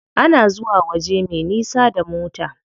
Ana zuwa waje me nisa da mota.